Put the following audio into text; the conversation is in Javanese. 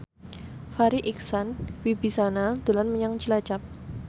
Farri Icksan Wibisana dolan menyang Cilacap